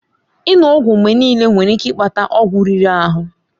Ịṅụ ọgwụ mgbe niile nwere ike ịkpata ọgwụ riri ahụ.